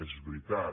és veritat